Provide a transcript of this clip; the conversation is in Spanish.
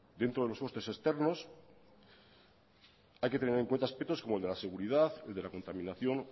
dentro de los costes externos hay que tener en cuenta aspectos como el de la seguridad el de la contaminación